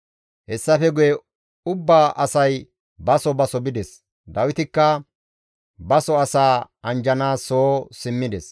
Hessafe guye ubba asay baso baso bides; Dawitikka baso asaa anjjanaas soo simmides.